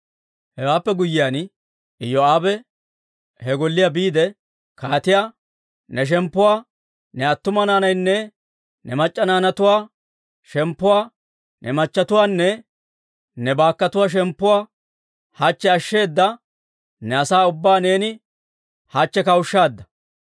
Hewaappe guyyiyaan, Iyoo'aabe he golliyaa biide kaatiyaa, «Ne shemppuwaa, ne attuma naanatuwaanne ne mac'c'a naanatuwaa shemppuwaa, ne machchatuwaanne ne baakkotuwaa shemppuwaa hachche ashsheedda ne asaa ubbaa neeni hachche kawushshaadda.